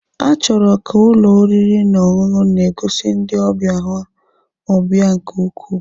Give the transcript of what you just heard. A chọrọ ka ụlọ oriri na ọṅụṅụ na-egosi ndị ọbịa ha ọbịa nke ukwuu.